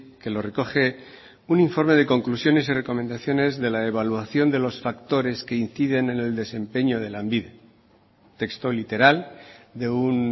que lo recoge un informe de conclusiones y recomendaciones de la evaluación de los factores que inciden en el desempeño de lanbide texto literal de un